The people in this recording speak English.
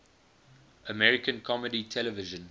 american comedy television